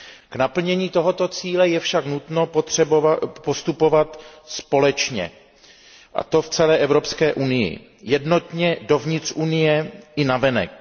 K naplnění tohoto cíle je však nutno postupovat společně, a to v celé Evropské unii, jednotně dovnitř Unie i navenek.